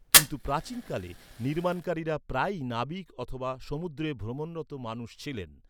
কিন্তু, প্রাচীনকালে, নির্মাণকারীরা প্রায়ই নাবিক অথবা সমুদ্রে ভ্রমণরত মানুষ ছিলেন।